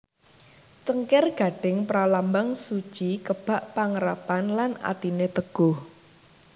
Cengkir gading pralambang suci kebak pangarepan lan atiné teguh